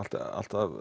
alltaf